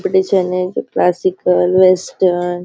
competition है जो classical और वेस्टर्न --